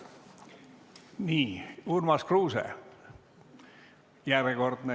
Nii, Urmas Kruuse, järjekordne.